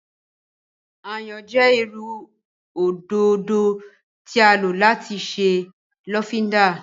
Ayan jẹ iru ododo ti a lo lati ṣe lofinda.